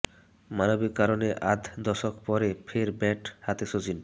মানবিক কারণে আধ দশক পরে ফের ব্যাট হাতে সচিন